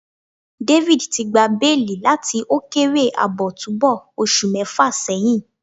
David ti gba beeli lati thr kere aabo tubu osu mefa seyin